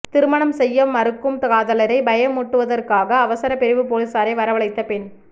திருமணம் செய்ய மறுக்கும் காதலரை பயமூட்டுவதற்காக அவசர பிரிவு பொலிஸாரை வரவழைத்த பெண்